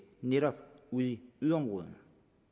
netop ude i yderområderne